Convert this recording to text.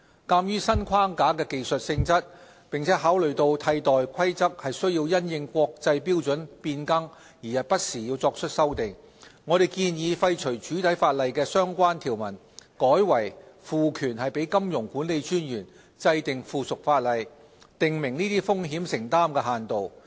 鑒於新框架的技術性質，並考慮到替代規則須因應國際標準變更不時作出修訂，我們建議廢除主體法例的相關條文，改為賦權金融管理專員制定附屬法例，訂明這些風險承擔限度。